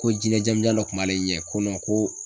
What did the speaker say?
Ko jinɛ jamijan dɔ kun b'ale ɲɛ ko ko